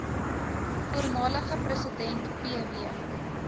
voormalige president pw